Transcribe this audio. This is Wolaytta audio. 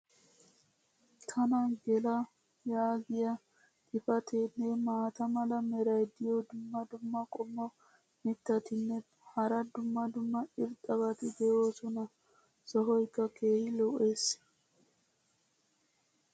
tana gela yaagiya xifateenne maata mala meray diyo dumma dumma qommo mitattinne hara dumma dumma irxxabati de'oosona. sohoykka keehi lo'ees.